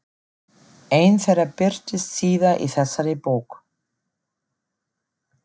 Ein þeirra birtist síðar í þessari bók.